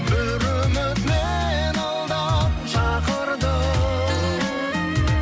бір үміт мені алдап шақырды